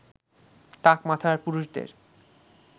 টাক মাথার পুরুষদের